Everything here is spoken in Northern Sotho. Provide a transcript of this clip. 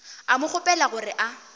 a mo kgopela gore a